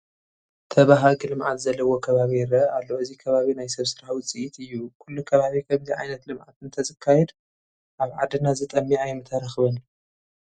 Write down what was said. ተበሃጊ ልምዓት ዘለዎ ከባቢ ይርአ ኣሎ፡፡ እዚ ከባቢ ናይ ሰብ ስራሕ ውፅኢት እዩ፡፡ ኩሉ ኪቦቢ ከምዚ ዓይነት ልምዓት እንተዘካይድ ኣብ ዓድና ዝጠምይ ኣይምተረኸበን፡፡